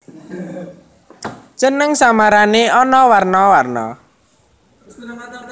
Jeneng samarané ana warna warna